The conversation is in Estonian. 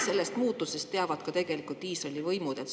Sellest muutusest teavad tegelikult ka Iisraeli võimud.